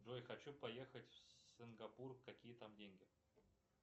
джой хочу поехать в сингапур какие там деньги